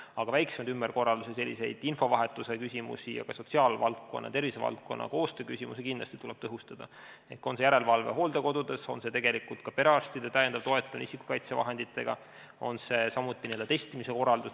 Aga väiksemaid ümberkorraldusi, selliseid infovahetuse küsimusi, samuti sotsiaal- ja tervisevaldkonna koostöö küsimusi tuleb kindlasti tõhustada – on see järelevalve hooldekodudes, on see perearstide toetamine isikukaitsevahenditega või on see testimise korraldus.